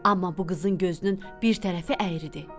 Amma bu qızın gözünün bir tərəfi əyridi.